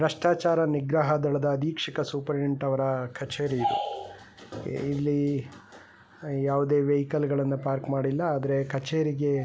ಭ್ರಷ್ಟಾಚಾರ ನಿಗ್ರಹ ದಳದ ಸೂಪರ್ಡೆಂಟ್ ಅವರ ಕಚೇರಿ ಇಲ್ಲಿ ಯಾವುದೇ ವೆಹಿಕಲ್ ಗಳನ್ನ ಪಾರ್ಕ್ ಮಾಡಿಲ್ಲ ಆದರೆ ಕಚೇರಿಗೆ --